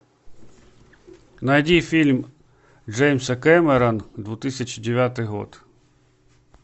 найди фильм джеймса кэмерона две тысячи девятый год